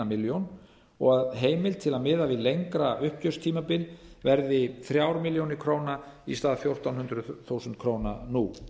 milljón króna og að heimild til að miða við lengra uppgjörstímabil verði þrjár milljónir króna í stað einn komma fjórum milljónum króna nú